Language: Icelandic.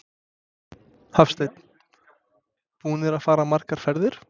Hafsteinn: Búnir að fara margar ferðir?